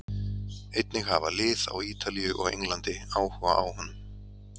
Einnig hafa lið á Ítalíu og Englandi áhuga á honum.